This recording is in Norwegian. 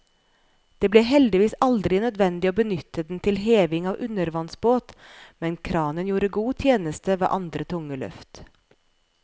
Det ble heldigvis aldri nødvendig å benytte den til heving av undervannsbåt, men kranen gjorde god tjeneste ved andre tunge løft.